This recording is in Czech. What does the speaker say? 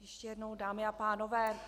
Ještě jednou, dámy a pánové.